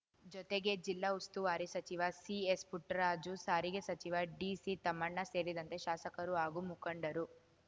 ಜೊತೆಗೆ ಜಿಲ್ಲಾ ಉಸ್ತುವಾರಿ ಸಚಿವ ಸಿಎಸ್‌ಪುಟ್ಟರಾಜು ಸಾರಿಗೆ ಸಚಿವ ಡಿಸಿತಮ್ಮಣ್ಣ ಸೇರಿದಂತೆ ಶಾಸಕರು ಹಾಗೂ ಮುಖಂಡರು